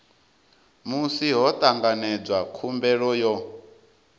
musi ho tanganedzwa khumbelo yo